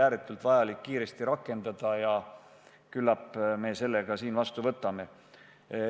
Ääretult oluline on seda kiiresti rakendada ja küllap me selle ka vastu võtame.